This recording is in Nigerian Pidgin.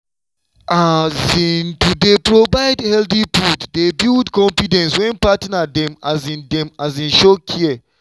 um to dey provide healthy food dey build confidence when partner dem um dey um show care.